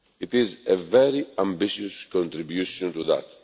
It is a very ambitious contribution to that.